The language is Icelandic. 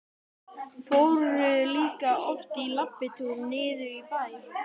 Fóru líka oft í labbitúr niður í bæ.